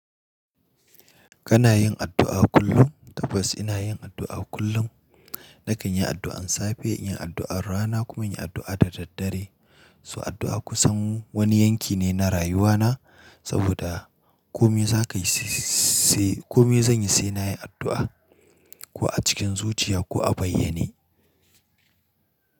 Kana yin addu'a kullum? Tabbas ina yin addu'a kullum. Nakan yi addu'an safe, yin addu'ar rana kuma yin addu'a da daddare. So addu'a kusan wani yanki ne na rayuwana saboda kome za ka yi sai, kome zan yi sai na yi addu'a, ko a cikin zuciya ko a bayyane.